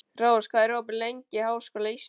Rós, hvað er opið lengi í Háskóla Íslands?